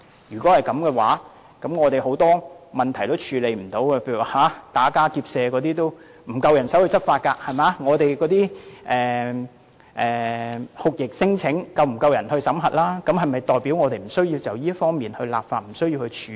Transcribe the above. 如果這樣，很多問題都不能夠處理，例如打家劫舍也沒有足夠人手執法，酷刑聲請也沒有足夠人手審核，是否表示我們無須就這方面立法和處理？